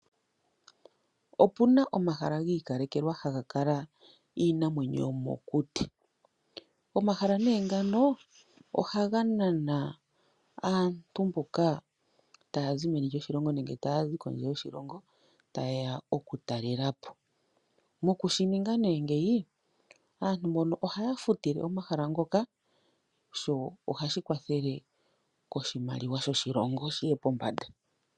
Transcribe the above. Opuna omahala gi ikalekelwa ha ga kala iinamwenyo yomo kuti. Omahala nee ngano ohaga nana aantu mboka taya zi meni lyoshilongo nenge taya zi pondje yoshilongo ta yeya oku talelapo. Moku shininga nee ngeyi, aantu mbono ohaya futile nee omahala ngoka, sho ohashi kwathele oshimaliwa shoshilongo shiye pombanda.